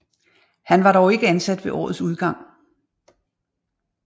Han var dog ikke ansat ved årets udgang